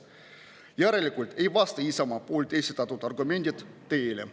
Järelikult ei vasta Isamaa poolt esitatud argumendid tõele.